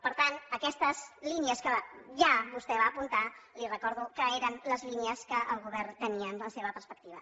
per tant aquestes línies que ja vostè va apuntar li recordo que eren les línies que el govern tenia en la seva perspectiva